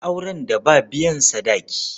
Akwai auren da ba biyan sadaki.